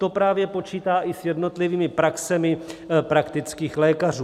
To právě počítá i s jednotlivými praxemi praktických lékařů.